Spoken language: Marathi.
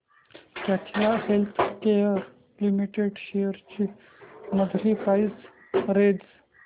कॅडीला हेल्थकेयर लिमिटेड शेअर्स ची मंथली प्राइस रेंज